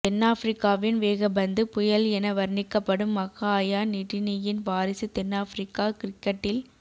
தென்னாபிரிக்காவின் வேகப்பந்து புயல் என வர்ணிக்கப்படும் மக்ஹாயா நிட்டினியின் வாரிசு தென்னாபிரிக்க கிரிக்கட்டில்